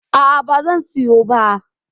A'a, ba zan siyo ba.